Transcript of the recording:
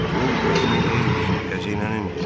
Pul özünün deyil ki, xəzinənindir.